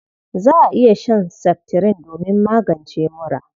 Za a iya shan seftirin domin magance mura..